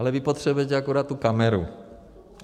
Ale vy potřebujete akorát tu kameru.